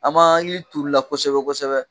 An m'an ka yiri turu la kosɛbɛ kosɛbɛ